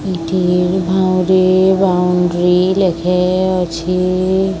ଏଠି ଭାଉଁରୀ ବାଉଣ୍ଡ୍ରୀ ଲେଖେ ଅଛି।